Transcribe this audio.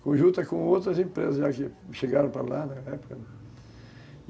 em conjunto com outras empresas que que chegaram para lá na época.